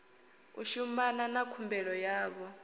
u shumana na khumbelo yavho